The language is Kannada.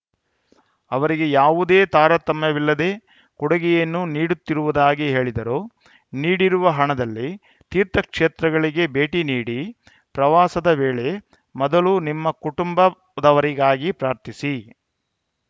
ಅವರಿಗೆ ಯಾವುದೇ ತಾರತಮ್ಯವಿಲ್ಲದೆ ಕೊಡುಗೆಯನ್ನು ನೀಡುತ್ತಿರುವುದಾಗಿ ಹೇಳಿದರು ನೀಡಿರುವ ಹಣದಲ್ಲಿ ತೀರ್ಥಕ್ಷೇತ್ರಗಳಿಗೆ ಭೇಟಿ ನೀಡಿ ಪ್ರವಾಸದ ವೇಳೆ ಮೊದಲು ನಿಮ್ಮ ಕುಟುಂಬದವರಿಗಾಗಿ ಪ್ರಾರ್ಥಿಸಿ